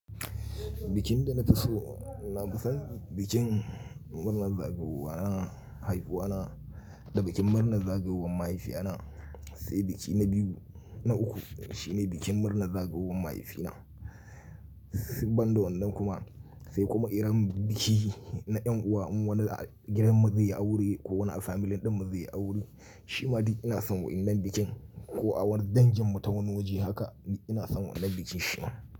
Bikin da na fi so na kusan bikin murnar zagayowar haihuwa na da bikin murnar zagayowan mahaifiya na sai biki na biyu na uku shine bikin murnar zagayowan mahaifi na. Ban da wannan kuma sai kuma idan biki na yan uwa in wani a gidan mu zai yi aure ko wani a family din mu zai yi aure shi ma duk ina son waɗannan bikin ko a wani dangin mu ta wani waje haka ina son wannan bikin shi ma.